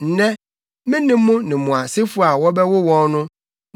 “Nnɛ, me ne mo ne mo asefo a wɔbɛwo wɔn no